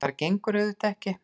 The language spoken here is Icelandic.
Það bara gengur auðvitað ekki.